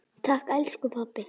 Takk elsku pabbi.